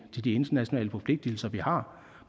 til de internationale forpligtelser vi har